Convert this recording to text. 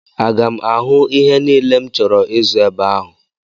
Aga m ahụ ihe niile m chọrọ ịzụ ebe ahụ?